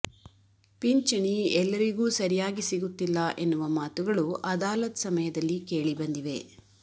ಪಿಂಚಣಿ ಎಲ್ಲರಿಗೂ ಸರಿಯಾಗಿ ಸಿಗುತ್ತಿಲ್ಲ ಎನ್ನುವ ಮಾತುಗಳು ಅದಾಲತ್ ಸಮಯದಲ್ಲಿ ಕೇಳಿ ಬಂದಿವೆ